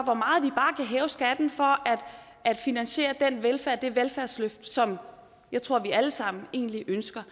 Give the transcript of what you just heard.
er hæve skatten for at finansiere det velfærdsløft som jeg tror vi alle sammen egentlig ønsker